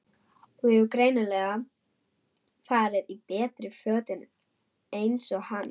Hún hefur greinilega farið í betri fötin eins og hann.